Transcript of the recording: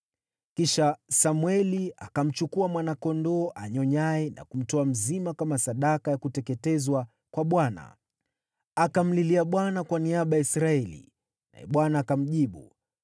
Kisha Samweli akamchukua mwana-kondoo anyonyaye na kumtoa mzima kama sadaka ya kuteketezwa kwa Bwana . Akamlilia Bwana kwa niaba ya Israeli, naye Bwana akamjibu.